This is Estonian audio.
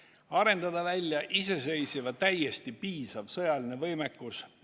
Kas tuleb arendada välja iseseisev ja täiesti piisav sõjaline võimekus?